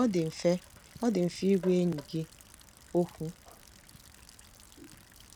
Ọ dị mfe Ọ dị mfe ịgwa enyi gị okwu."